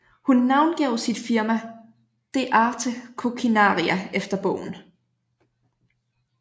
Hun navngav sit firma De Arte Coquinaria efter bogen